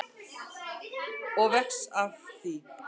Og vex af því.